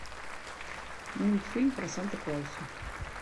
мультфильм про санта клауса